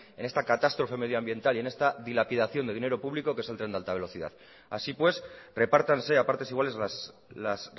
en esta catástrofe medioambiental y en esta dilapidación de dinero público que es el tren de alta velocidad así pues repártanse a partes iguales las